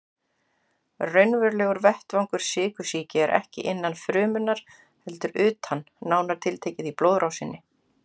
Raunverulegur vettvangur sykursýki er ekki innan frumunnar heldur utan, nánar tiltekið í blóðrásinni.